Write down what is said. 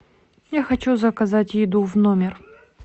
я хочу заказать еду в номер